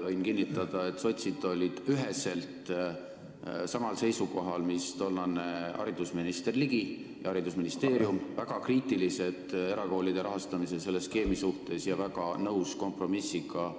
Võin kinnitada, et sotsid olid üheselt samal seisukohal, mis tollane haridusminister Ligi ja haridusministeerium, nad olid väga kriitilised erakoolide rahastamise selle skeemi suhtes ja väga nõus kompromissiga